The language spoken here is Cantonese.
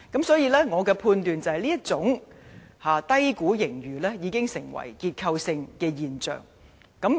所以，我判斷這種低估盈餘已成結構性現象。